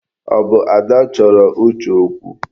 Ọ bụ Ada chọrọ Uche okwu?